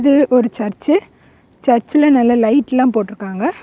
இது ஒரு சர்ச் சர்ச்சுல நல்லா லைட்ல போட்ருக்காங்க.